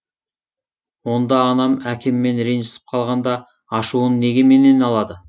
онда анам әкеммен ренжісіп қалғанда ашуын неге менен алады